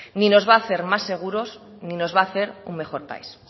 ni nos va a hacer más seguros ni nos va a hacer un mejor país